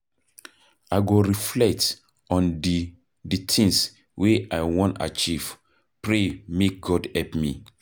I go reflect on di di tins wey I wan achieve, pray make God help me.